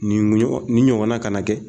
Nin muɲɔgɔ ni ɲɔgɔnna ka na kɛ.